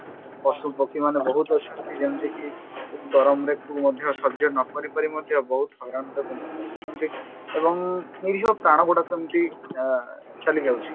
ପଶୁ ପକ୍ଷୀ ମାନେ ବହୁତ ଅଛନ୍ତି ଯେମତିକି ଏଇ ଗରମରେ ମଧ୍ୟ ସଜ୍ୟ ନକରିପାରି ମଧ୍ୟ ବହୁତ ଆଉ ନିରୀହ ପ୍ରାଣ ଗୁଡାକ ଏମତି ଆ ଚାଲିଯାଉଛି